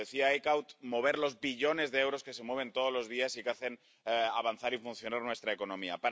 como decía Eickhout, mover los billones de euros que se mueven todos los días y que hacen avanzar y funcionar nuestra economía.